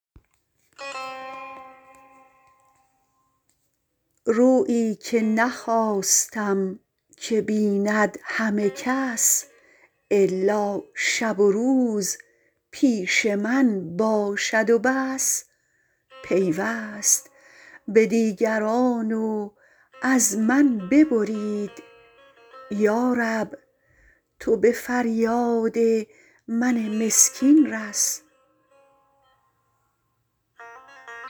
رویی که نخواستم که بیند همه کس الا شب و روز پیش من باشد و بس پیوست به دیگران و از من ببرید یارب تو به فریاد من مسکین رس